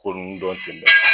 Koloni dɔ sen bɛ